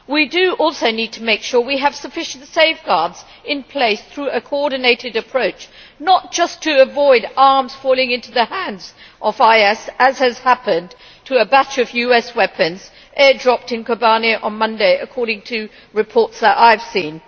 We also need to make sure that we have sufficient safeguards in place through a coordinated approach, not just to avoid arms falling into the hands of IS, as has happened to a batch of US weapons dropped in Kobane on Monday according to reports that I have seen.